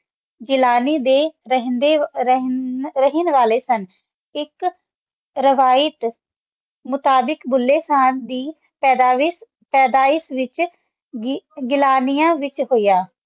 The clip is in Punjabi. ਜਿਲ੍ਲਾਨੀ ਦੇ ਰੇਹੰਡੀ ਰੇਹਾਨ ਵਾਲੇ ਸਨ ਏਇਕ ਰਹਿਯਤ ਮੁਤਾਬਿਕ ਭੁੱਲੇ ਸ਼ਾਹ ਦੀ ਪੈਦਾਇਸ਼ ਪੈਦਾਇਸ਼ ਵਿਚ ਗਿਲ੍ਲਾਨਿਆ ਵਿਚ ਹੋਯਾ